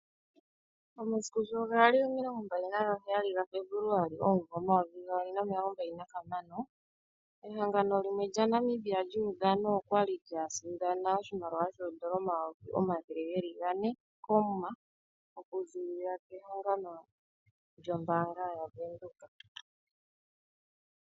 Omasiku sho gali omilongo mbali naga heyali gaFebuluali omumvo omayovi gaali nomilongo mbali gahamano, ehangano limwe lya Namibia lyuudhano okwali lya sindana oshimaliwa shoondola omayovi omathele ga ne koomuma, oku zilila kehangano lyombaanga yaVenduka.